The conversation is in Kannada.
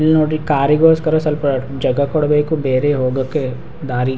ಇಲ್ಲ್ ನೋಡಿ ಕಾರಿ ಗೋಸ್ಕರ ಸ್ವಲ್ಪ ಜಾಗ ಕೊಡ್ಬೇಕು ಬೇರೆ ಹೋಗೋಕೆ ದಾರಿ --